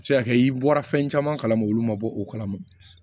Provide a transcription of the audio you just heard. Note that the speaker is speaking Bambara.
A bɛ se ka kɛ i bɔra fɛn caman kalama olu ma bɔ o kalama